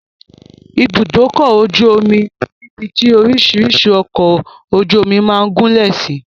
Ibùdókọ̀-ojú-omi ni ibi tí orísìírísìí ọkọ̀-ojú-omi máa ń gúlẹ̀ sí.